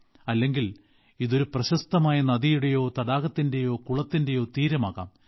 അല്ലെങ്കിൽ ഇത് ഒരു പ്രശസ്തമായ നദിയുടെയോ തടാകത്തിന്റെയോ കുളത്തിന്റെയോ തീരം ആകാം